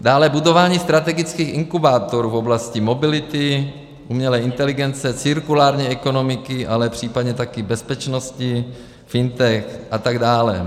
Dále budování strategických inkubátorů v oblasti mobility, umělé inteligence, cirkulární ekonomiky, ale případně také bezpečnosti, FinTech a tak dále.